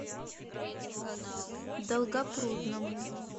долгопрудному